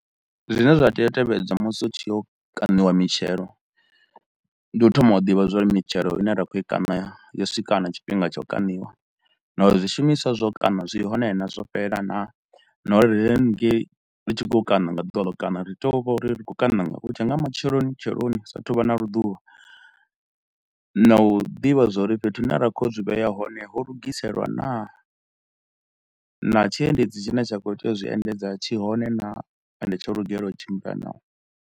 Zwine zwa tea u tevhedzwa musi hu tshi yo kaniwa mitshelo, ndi u thoma u ḓivha zwauri mitshelo ine ra kho i kana yo swika na tshifhinga tsha u kaniwa na uri zwishumiswa zwau kana zwi hone na, zwo fhelela na. Na uri ri hanengei ri tshi khou kana nga ḓuvha ḽa u kana, ri tea u vha uri ri khou kana nga hu tshe nga matsheloni tsheloni hu sa a thu u vha na luḓuvha na u ḓivha zwauri fhethu hune ra khou ya u zwi vhea hone ho lugiselwa naa, na tshiendedzi tshine tsha kho tea u zwi endedza tshi hone naa ende tsho lugelwa u tshimbila naa.